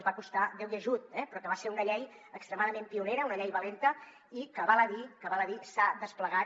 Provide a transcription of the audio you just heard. que va costar déu i ajut eh però que va ser una llei extremadament pionera una llei valenta i que val a dir que s’ha desplegat